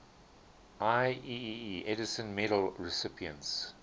ieee edison medal recipients